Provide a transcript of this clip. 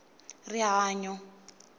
rihanyo